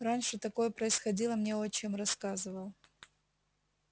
раньше такое происходило мне отчим рассказывал